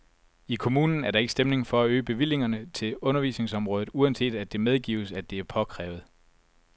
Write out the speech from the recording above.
I kommunen er der ikke stemning for at øge bevillingerne til undervisningsområdet, uanset at det medgives, at det er påkrævet.